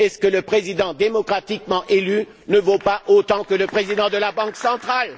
Le Président démocratiquement élu ne vaut il pas autant que le président de la Banque centrale?